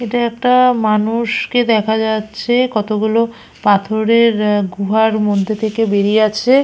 এটা একটা মানুষকে দেখা যাচ্ছে কতগুলো পাথরের এ গুহার মধ্যে থেকে বেরিয়ে আছে।